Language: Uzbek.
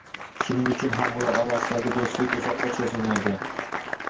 Shuning uchun ham ular orasidagi do‘stlik uzoqqa cho‘zilmaydi.